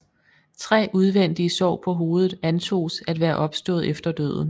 Tre udvendige sår på hovedet antoges at være opstået efter døden